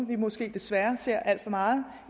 vi måske desværre ser alt for meget